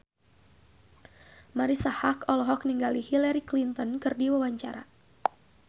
Marisa Haque olohok ningali Hillary Clinton keur diwawancara